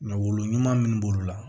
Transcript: Mɛ wolo ɲuman min b'olu la